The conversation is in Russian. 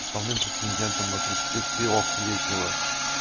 основным претендентом на тридцатитрехлетнего